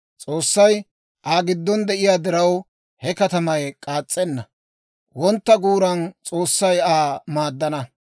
S'oossay Aa giddon de'iyaa diraw, he katamay k'aas's'enna. Wontta guuran S'oossay Aa maaddana.